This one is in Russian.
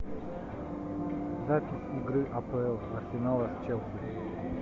запись игры апл арсенала с челси